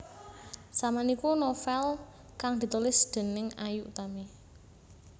Saman iku novél kang ditulis déning Ayu Utami